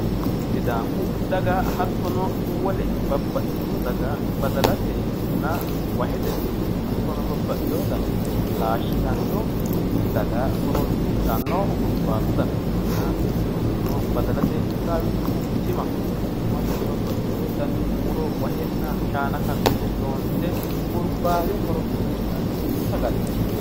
Sidaamu daga hattono wole babbaxxitino daga badalatenna wahete hattono babbaxxino dani muro laashshitanno daga horoonsidhanno hurbaatu dana ikkanna badalateyi qixxaawinohu timaho yinannihu hattono babbaxxino dani muro wahenna shaana karsine loonse hurbaate horoonsi'nanni sagaleeti.